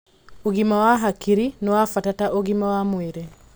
ũgima wa hakiri nĩ wa bata ta ũgima wa mwĩrĩ